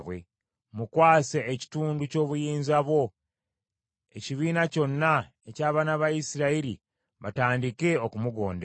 Mukwase ekitundu ky’obuyinza bwo, ekibiina kyonna eky’abaana ba Isirayiri batandike okumugondera.